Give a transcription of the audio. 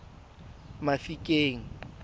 mafikeng